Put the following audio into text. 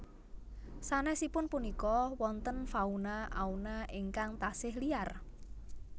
Sanesipun punika wonten fauna auna ingkang tasih liar